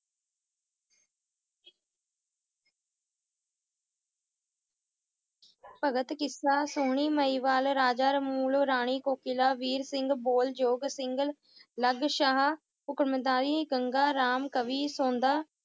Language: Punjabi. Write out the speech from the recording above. ਭਗਤ ਕਿੱਸਾ ਸੋਹਣੀ ਮਹਿਵਾਲ ਰਾਜਾ ਰਾਣੀ ਕੋਕਿਲਾ ਵੀਰ ਸਿੰਘ ਗੰਗਾ ਰਾਮ ਕਵੀ ਸੁਣਦਾ